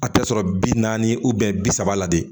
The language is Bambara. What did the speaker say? A tɛ sɔrɔ bi naani bi saba la de